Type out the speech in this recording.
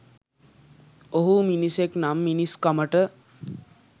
ඔහු මිනිසෙක් නම් මිනිස්කමට